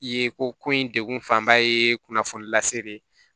I ye ko in degun fanba ye kunnafoni lase de